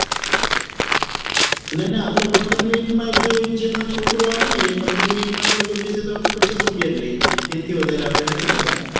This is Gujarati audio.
નાના આપડે પંદર minute માં જ જે પણ છોકરો આવે ને એ પંદર minute માં ને એ લોકો બેસે તો આપડે પચાસ રૂપિયા જ લઈએ એન થી વધારે આપડે નથી લેતા